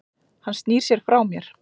Hann snýr sér frá mér.